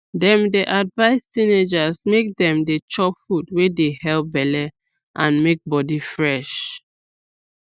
dem dey advise teenagers make dem dey chop food wey dey help belle and make body fresh